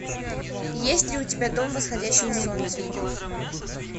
есть ли у тебя дом восходящего солнца